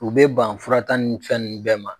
U bɛ ban fura taa ni fɛn nu bɛɛ ma.